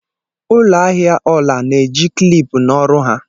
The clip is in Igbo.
ụlọ ahịa ọla na-eji kịlịpù na ọrụ ha